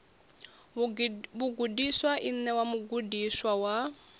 vhagudiswa i ṋewa mugudiswa wa